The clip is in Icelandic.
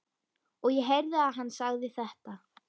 Og ég heyrði að hann sagði þetta.